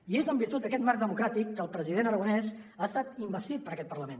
i és en virtut d’aquest marc democràtic que el president aragonès ha estat investit per aquest parlament